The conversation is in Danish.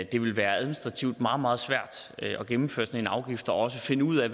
det ville være administrativt meget meget svært at gennemføre en sådan afgift og også finde ud af